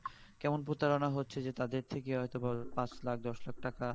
কেমন প্রতারনা হচ্ছে যে তাদের থেকে হয়তোবা পাঁচ লাখ দশ লাখ টাকা